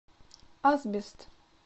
асбест